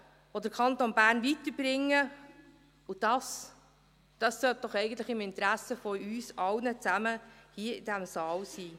– Investitionen, die den Kanton Bern weiterbringen, und dies, dies sollte doch im Interesse von uns allen in diesem Saal sein.